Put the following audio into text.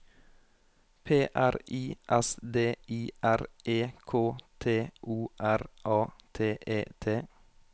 P R I S D I R E K T O R A T E T